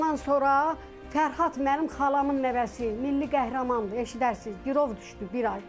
Ondan sonra Fərhad mənim xalamın nəvəsi, Milli Qəhrəmandır, eşidərsiz, girov düşdü bir ay.